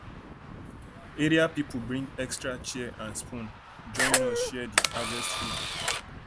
area people bring extra chair and spoon join us spoon join us share di harvest food